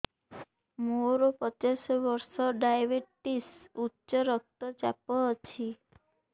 ମୋର ପଚାଶ ବର୍ଷ ଡାଏବେଟିସ ଉଚ୍ଚ ରକ୍ତ ଚାପ ଅଛି